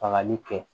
Fagali kɛ